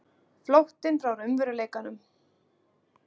Flóttinn frá raunveruleikanum.